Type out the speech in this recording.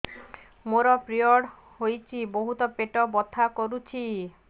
ମୋର ପିରିଅଡ଼ ହୋଇଛି ବହୁତ ପେଟ ବଥା କରୁଛି